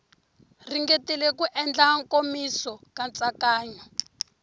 ringetile ku endla nkomiso nkatsakanyo